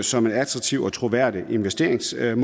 som et attraktivt og troværdigt investeringsmål man